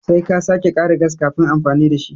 Sai ka sake kara gas kafin amfani da shi.